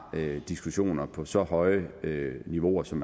diskussioner på så høje niveauer som